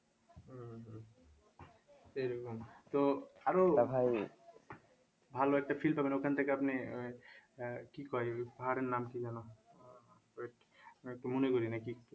এরকম তো আরও ভালো একটা feel পাবেন ওখান থেকে আপনি ওই আহ কি কই পাহাড়ের নাম কি যেন